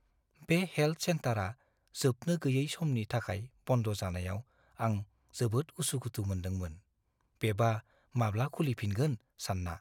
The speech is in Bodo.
बे हेल्थ सेन्टारआ जोबनो गैयै समनि थाखाय बन्द जानायाव आं जोबोद उसु-खुथु मोनदोंमोन, बेबा माब्ला खुलि फिनगोन सानना।